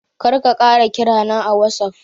Kar ka ƙara kira na a watsaf.